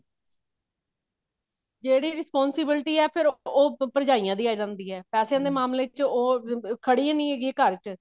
ਜਿਹੜੀ responsibility ਫ਼ੇਰ ਉਹ ਭਰਜਾਈਆਂ ਦੀ ਆ ਜਾਂਦੀ ਹੈ ਪੈਸੇ ਦੇ ਮਾਮਲੇ ਚ ਉਹ ਖੜੀ ਓ ਨਹੀ ਹੈਗੀ ਘਰ ਚ